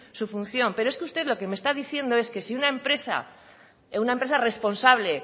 su función pero es que usted lo que me está diciendo es que si una empresa una empresa responsable